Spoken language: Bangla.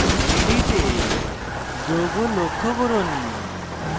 3d তে যৌগ লক্ষ্য করুন